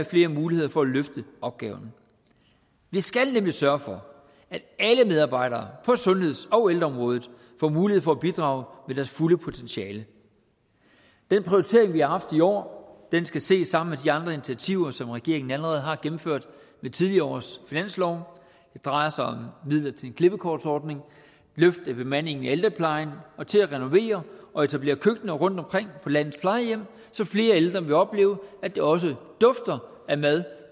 flere muligheder for at løfte opgaven vi skal nemlig sørge for at alle medarbejdere på sundheds og ældreområdet får mulighed for at bidrage med deres fulde potentiale den prioritering vi har haft i år skal ses sammen med de andre initiativer som regeringen allerede har gennemført med tidligere års finanslove det drejer sig om midler til en klippekortsordning løft i bemandingen i ældreplejen og til at renovere og etablere køkkener rundtomkring på landets plejehjem så flere ældre vil opleve at det også dufter af mad